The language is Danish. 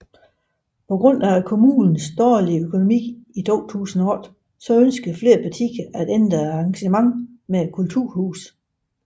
På grund af kommunens dårlige økonomi i 2008 ønskede flere partier at ændre engagementet med kulturhuset